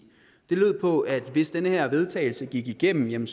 de lød på at hvis den her vedtagelse gik igennem